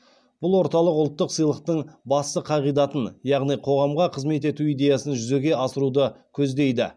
бұл орталық ұлттық сыйлықтың басты қағидатын яғни қоғамға қызмет ету идеясын жүзеге асыруды көздейді